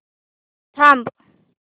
थांब